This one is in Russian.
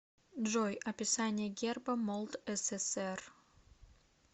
джой описание герба молдсср